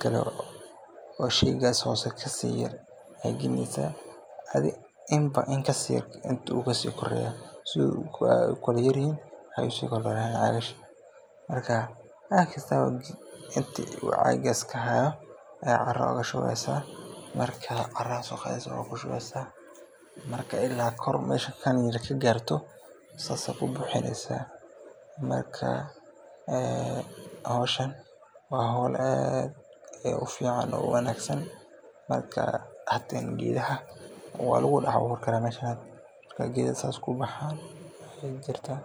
kabilabeysa, inta uu cagaas kahaayo ayaa ku shubeysa, ila kor ka gaarto saas ayaa ku burineysa, meeshan geeda waa lagu dex abuuri karaa, geeda saas ku baxaan ayaa jirtaa.